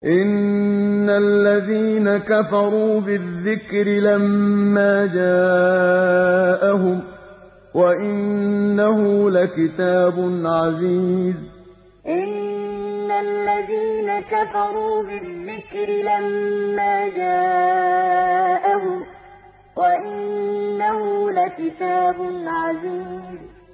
إِنَّ الَّذِينَ كَفَرُوا بِالذِّكْرِ لَمَّا جَاءَهُمْ ۖ وَإِنَّهُ لَكِتَابٌ عَزِيزٌ إِنَّ الَّذِينَ كَفَرُوا بِالذِّكْرِ لَمَّا جَاءَهُمْ ۖ وَإِنَّهُ لَكِتَابٌ عَزِيزٌ